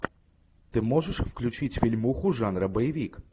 ты можешь включить фильмуху жанра боевик